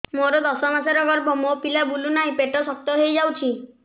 ମୋର ଦଶ ମାସର ଗର୍ଭ ମୋ ପିଲା ବୁଲୁ ନାହିଁ ପେଟ ଶକ୍ତ ହେଇଯାଉଛି